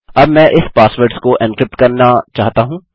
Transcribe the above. अब मैं इस पासवर्ड्स को एन्क्रिप्ट करना चाहता हूँ